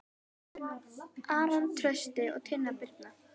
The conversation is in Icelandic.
Aron Trausti og Tinna Birna.